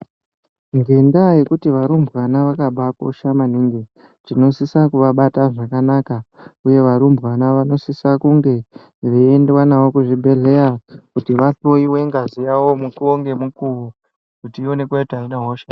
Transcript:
Ngendaa yekuti varumbwana vakabakosha maningi tinosise kuvàbata zvakanaka uye varumbwana vanosise kunge veiendwa navo kuzvibhedhlera kuti vahloyiwe ngazi yavo mukuwo ngemukuwo kuti ionekwe kuti aina hosha ere.